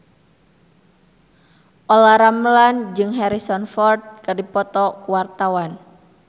Olla Ramlan jeung Harrison Ford keur dipoto ku wartawan